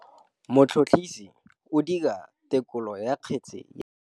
Motlhotlhomisi o dira têkolô ya kgetse ya bogodu.